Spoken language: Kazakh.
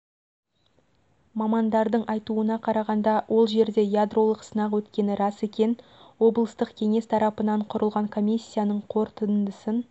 мамандардың айтуына қарағанда ол жерле ядролық сынақ өткені рас екен облыстық кеңес тарапынан құрылған комиссияның қорытындысын